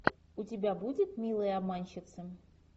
у тебя будет милые обманщицы